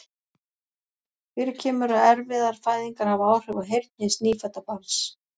Fyrir kemur að erfiðar fæðingar hafa áhrif á heyrn hins nýfædda barns.